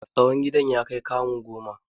Tsawon gidan ya kai kamu goma.